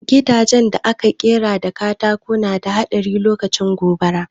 Gidajen da aka ƙera da katako na da haɗari lokacin gobara